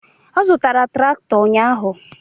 Ọ zụtara traktọ ụnyaahụ.